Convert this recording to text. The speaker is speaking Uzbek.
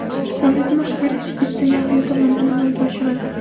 Davlatni boshqarish esa Yahyo tomonidan amalga oshirildi.